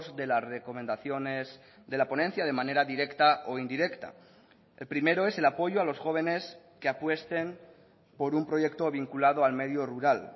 de las recomendaciones de la ponencia de manera directa o indirecta el primero es el apoyo a los jóvenes que apuesten por un proyecto vinculado al medio rural